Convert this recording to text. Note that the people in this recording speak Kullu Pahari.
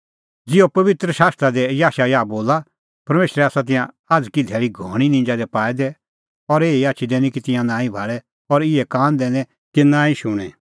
ज़िहअ पबित्र शास्त्रा दी याशायाह बोला परमेशरै आसा तिंयां आझ़की धैल़ी घणीं निंजा दी पाऐ दै और एही आछी दैनी कि तिंयां नांईं भाल़े और इहै कान दैनै कि नांईं शुणें